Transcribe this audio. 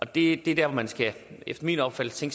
det er der hvor man efter min opfattelse